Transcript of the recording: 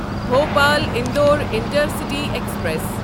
Bhopal Indore intercity express